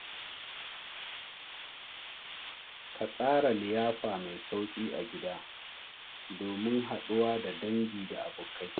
Ka tsara liyafa mai sauƙi a gida domin haɗuwa da dangi da abokai.